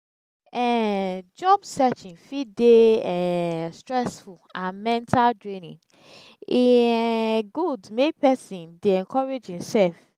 um job searching fit de um stressful and mental draining e um good make persin de encourage himself